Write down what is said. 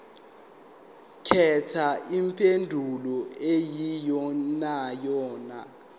khetha impendulo eyiyonayona